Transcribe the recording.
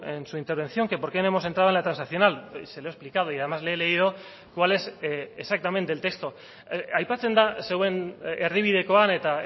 en su intervención que por qué no hemos entrado en la transaccional se lo he explicado y además le he leído cuál es exactamente el texto aipatzen da zeuen erdibidekoan eta